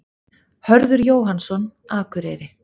Hörður Jóhannsson, Akureyri